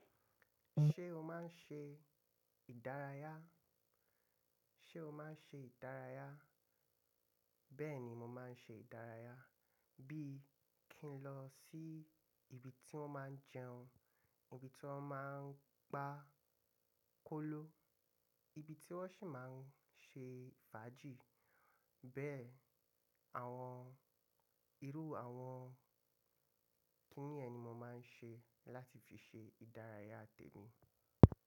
Ṣé o máa ń ṣe ìdárayá? Ṣé o máa ń ṣe ìdárayá? Bẹ́ẹ̀ni mo máa ń ṣe ìdárayá. Bí kí ń lọ sí ibi tí wọ́n máa ń jẹun, ibi tí wọ́n máa ń gba kóló, ibi tí wọ́n sì máa ń ṣe fàájì. Bẹ́ẹ̀ àwọn irú àwọn kíni yẹn ni mo máa ń ṣe láti fi ṣe ìdárayá tèmi.